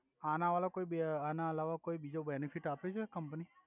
આના વલા કોઇ બી આના અલાવા કોઇ બિજો બેનોફિટ આપે છે કમ્પની